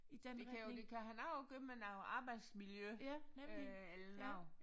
Det kan jo det kan have noget at gøre med noget arbejdsmiljø øh eller noget